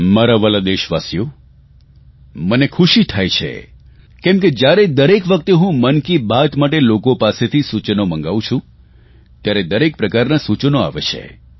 મારા વહાલા દેશવાસીઓ મને ખુશી થાય છે કેમ કે દરેક વખતે હું મન કી બાત માટે લોકો પાસેથી સૂચન મંગાવું છું ત્યારે દરેક પ્રકારના સુચનો આવે છે